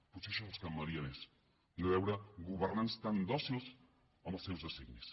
potser això els calmaria més i no veure governants tan dòcils amb els seus designis